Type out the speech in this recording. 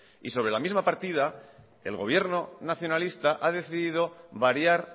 y sobre la misma partida el gobierno nacionalista ha decidido variar